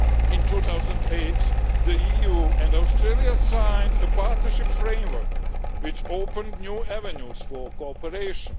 In 2008, the EU and Australia signed a partnership framework, which opened new avenues for cooperation.